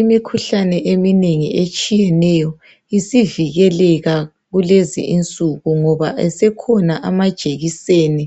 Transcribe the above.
Imikhuhlane eminengi etshiyeneyo isivikeleka kulezi insuku ngoba esekhona amajekiseni